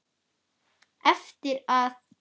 Eftir að